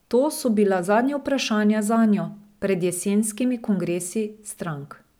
To so bila zadnja vprašanja zanjo pred jesenskimi kongresi strank.